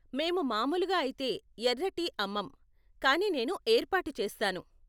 మేము మామూలుగా అయితే ఎర్ర టీ అమ్మం, కానీ నేను ఏర్పాటు చేస్తాను.